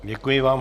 Děkuji vám.